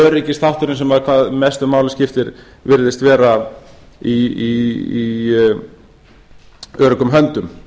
öryggisþátturinn sem hvað mestu máli skiptir virðist vera í öruggum höndum